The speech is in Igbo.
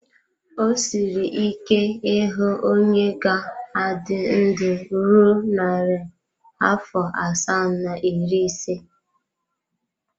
O siri ike ịhụ onye ga-adị ndụ ruo narị afọ asaa na iri ise.